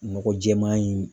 Nɔgɔ jɛɛman in